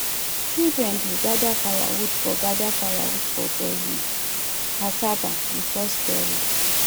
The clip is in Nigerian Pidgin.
children dey gather firewood for gather firewood for boiling cassava before storage